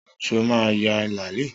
Sọ ma ya làálí?